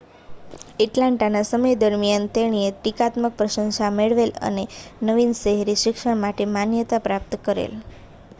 એટલાન્ટાના સમય દરમિયાન તેણીએ ટીકાત્મક પ્રશંસા મેળવેલ અને નવીન શહેરી શિક્ષણ માટે માન્યતા પ્રાપ્ત કરેલ